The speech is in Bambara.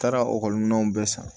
Taara ekɔli minɛnw bɛɛ san